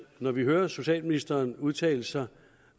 når vi hører socialministeren udtale sig